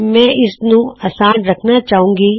ਮੈਂ ਇਸਨੂੰ ਅਸਾਨ ਰਖਨਾ ਚਾਹੁੰਦਾ ਹਾਂ